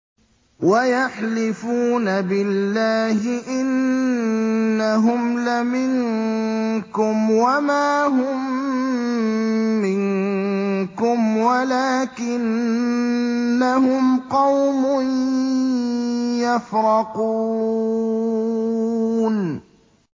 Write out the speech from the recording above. وَيَحْلِفُونَ بِاللَّهِ إِنَّهُمْ لَمِنكُمْ وَمَا هُم مِّنكُمْ وَلَٰكِنَّهُمْ قَوْمٌ يَفْرَقُونَ